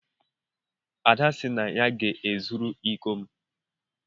Ada sị na ya ga-ezuru iko m.